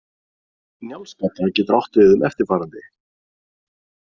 Njálsgata getur átt við um eftirfarandi.